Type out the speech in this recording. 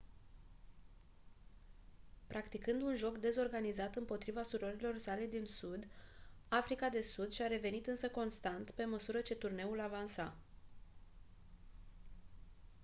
practicând un joc dezorganizat împotriva surorilor sale din sud africa de sud și-a revenit însă constant pe măsură ce turneul avansa